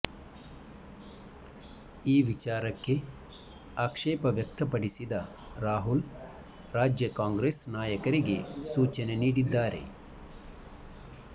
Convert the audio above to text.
ಈ ವಿಚಾರಕ್ಕೆ ಆಕ್ಷೇಪ ವ್ಯಕ್ತಪಡಿಸಿದ ರಾಹುಲ್ ರಾಜ್ಯ ಕಾಂಗ್ರೆಸ್ ನಾಯಕರಿಗೆ ಸೂಚನೆ ನೀಡಿದ್ದಾರೆ